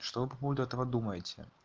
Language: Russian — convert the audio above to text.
что вы по поводу этого думаете